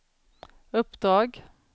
uppdrag